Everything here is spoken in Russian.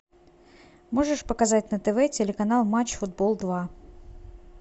можешь показать на тв телеканал матч футбол два